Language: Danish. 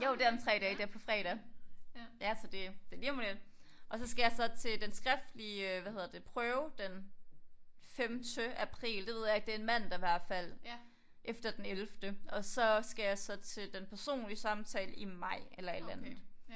Jo det om 3 dage det er på fredag ja så det det lige om lidt og så skal jeg så til den skriftlige øh hvad hedder det prøve den femte april det ved jeg ikke det er en mandag i hvert fald efter den ellevte og så skal jeg så til den personlige samtale i maj eller et eller andet